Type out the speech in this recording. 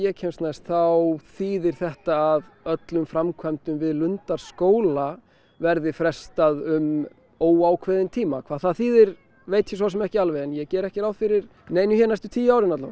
kemst næst þá þýðir þetta að öllum framkvæmdum við Lundarskóla verði frestað um óákveðinn tíma hvað það þýðir veit ég svo sem ekki alveg en ég geri ekki ráð fyrir neinu hér næstu tíu árin